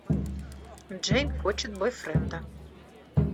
джейн хочет бойфренда